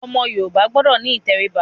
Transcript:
Ọmọ Yorùbá gbọdọ̀ ní ìtẹríba.